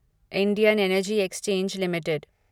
Indian energy exchange limited